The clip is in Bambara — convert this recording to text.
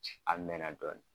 A mɛn na dɔɔni.